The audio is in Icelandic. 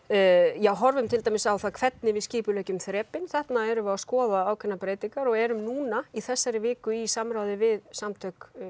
já horfum til dæmis á hvernig við skipuleggjum þrepin þarna erum við að skoða ákveðnar breytingar og erum núna í þessari viku í samráði við samtök